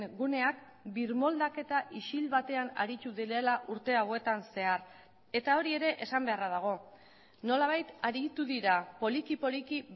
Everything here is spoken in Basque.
guneak birmoldaketa isil batean aritu direla urte hauetan zehar eta hori ere esan beharra dago nolabait aritu dira poliki poliki